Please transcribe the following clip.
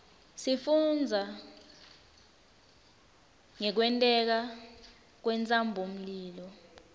sifundza ngekwenteka kwentsabamlilo